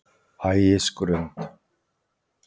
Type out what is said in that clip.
Ægisgrund